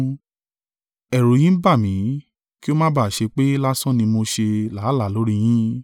Ẹ̀rù yin ń bà mí, kí o má bà ṣe pé lásán ni mo ṣe làálàá lórí yín.